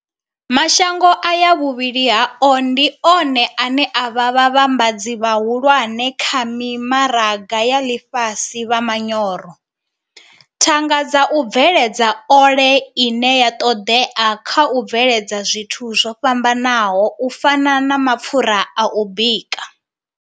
Mashango aya vhuvhili hao ndi one ane a vha vhavhambadzi vhahulwane kha mimaraga ya ḽifhasi vha manyoro, thanga dza u bveledza ole ine ya ṱoḓea kha u bveledza zwithu zwo fhambanaho u fana na mapfura a u bika.